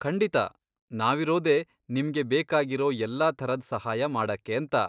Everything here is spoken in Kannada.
ಖಂಡಿತ! ನಾವಿರೋದೇ ನಿಮ್ಗೆ ಬೇಕಾಗಿರೋ ಎಲ್ಲಾ ಥರದ್ ಸಹಾಯ ಮಾಡಕ್ಕೇಂತ.